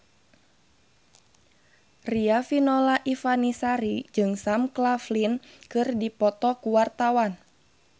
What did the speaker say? Riafinola Ifani Sari jeung Sam Claflin keur dipoto ku wartawan